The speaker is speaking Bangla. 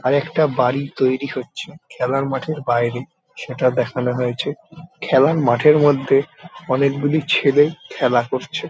আরেকটা বাড়ি তৈরী হচ্ছে খেলার মাঠের বাইরে সেটা দেখানো হয়েছে। খেলার মাঠের মধ্যে অনেকগুলি ছেলে খেলা করছে।